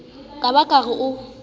ka ba ke re o